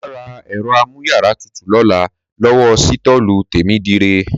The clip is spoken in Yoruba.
Mà rà èrọ àmùyàrà tútú lólà lòwó sìtọlu temidire